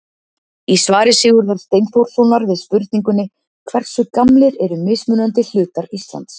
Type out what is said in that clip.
Í svari Sigurðar Steinþórssonar við spurningunni Hversu gamlir eru mismunandi hlutar Íslands?